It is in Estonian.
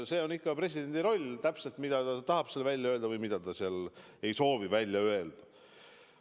See on presidendi roll, ta teab täpselt, mida ta tahab seal välja öelda või mida ta seal ei soovi välja öelda.